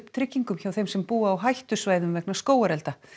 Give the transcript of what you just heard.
tryggingum hjá þeim sem búa á hættusvæðum vegna skógarelda